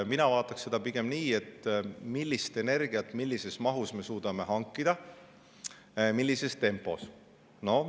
Mina vaataks pigem seda, millist energiat millises mahus me suudame hankida ja millises tempos.